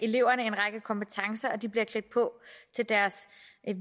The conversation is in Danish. eleverne en række kompetencer og de bliver klædt på til deres